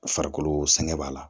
Farikolo sɛgɛn b'a la